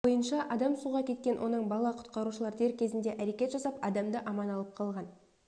бойынша адам суға кеткен оның бала құтқарушылар дер кезінде әрекет жасап адамды аман алып қалған